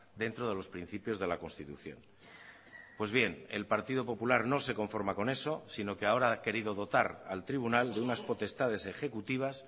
dentro de los principios de la constitución pues bien el partido popular no se conforma con eso sino que ahora ha querido dotar al tribunal de unas potestades ejecutivas